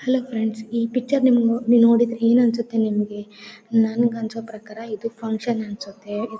Hello friends ಈ picture ನಿಮ ನಿಮಗೆ ನೋಡಿದ್ರೆ ಏನ್ ಅನ್ಸುತ್ತೆ ನಿಮಗೆ ನನಗೆ ಅನ್ಸೋ ಪ್ರಕಾರ ಇದು ಫುನ್ಕ್ಷನ್ ಅನ್ಸುತ್ತೆ .